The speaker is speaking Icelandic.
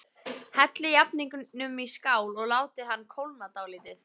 Hellið jafningnum í skál og látið hann kólna dálítið.